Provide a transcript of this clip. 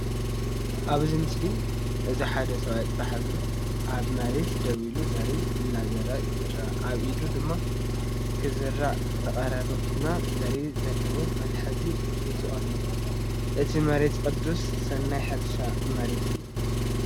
ኣብዚ ምስሊ እዚ ሓደ ሰብኣይ ጥራይ እግሩ ኣብ መሬት ደው ኢሉ ዘርኢ ክዘርእ ይርአ። ኣብ ኢዱ ድማ ክዝራእ ዝቐረበ ቡናዊ ዘርኢ ዘለዎ መትሓዚ ሒዙ ኣሎ። እቲ መሬት ቅዱስ ናይ ሕርሻ መሬት እዩ።